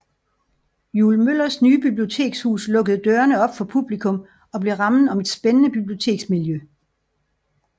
Juul Møllers nye bibliotekshus lukkede dørene op for publikum og blev rammen om et spændende biblioteksmiljø